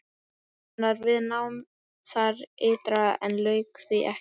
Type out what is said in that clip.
Hann var við nám þar ytra en lauk því ekki.